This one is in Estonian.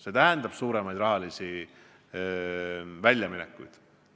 See tähendab suuremaid väljaminekuid.